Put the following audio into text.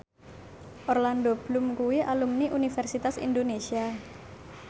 Orlando Bloom kuwi alumni Universitas Indonesia